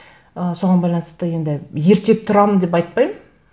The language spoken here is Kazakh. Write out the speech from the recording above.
ы соған байланысты енді ерте тұрамын деп айтпаймын